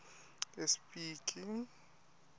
espiki